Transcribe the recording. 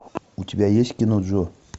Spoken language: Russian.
у тебя есть кино джо